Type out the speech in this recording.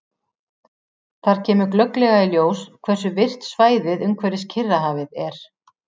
Þar kemur glögglega í ljós hversu virkt svæðið umhverfis Kyrrahafið er.